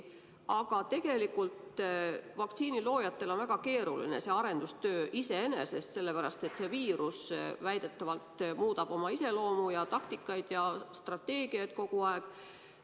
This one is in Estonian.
Aga tegelikult vaktsiiniloojatel on see arendustöö iseenesest väga keeruline, sellepärast et see viirus väidetavalt muudab oma iseloomu ja taktikaid ja strateegiaid kogu aeg.